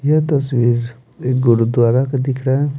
यह तस्वीर एक गुरुद्वारा का दिख रहा है।